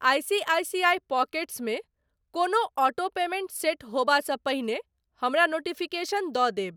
ICICI pockets मे कोनो auto payment set होयबासँ पहिने हमरा नोटिफिकेशन दऽ देब।